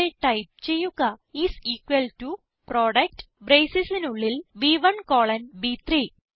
ഇവിടെ ടൈപ്പ് ചെയ്യുക is equal to product bracesസിസിന് ഉള്ളിൽ ബ്1 കോളൻ ബ്3